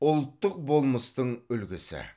ұлттық болмыстың үлгісі